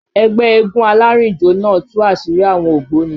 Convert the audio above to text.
Ẹgbẹ́ eégún alárìnjó náà tú àṣírí àwọn ògbóni